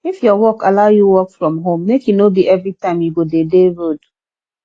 if your work allow you work from home make e no be everytime you go de dey road